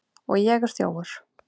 Og ég er þjófur.